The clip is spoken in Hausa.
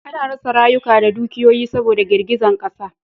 A na rasa rayuka da dukiyoyi saboda girgizan ƙasa